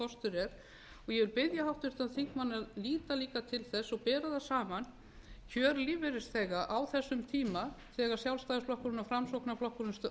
er og ég vil biðja háttvirtan þingmann að líta líka til þess og bera það sama kjör lífeyrisþega á þessum tíma þegar sjálfstæðisflokkurinn og framsóknarflokkurinn